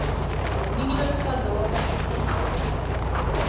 minimum standaarde uiteengesit